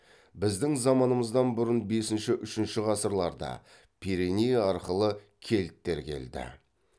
біздің заманымыздан бұрын бесінші үшінші ғасырларда пиреней арқылы кельттер келді